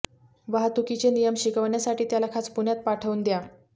वाहतुकीचे नियम शिकवण्यासाठी त्याला खास पुण्यात पाठवून द्या